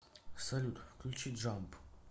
салют включи джамп